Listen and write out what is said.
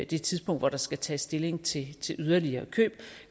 det tidspunkt hvor der skal tages stilling til yderligere køb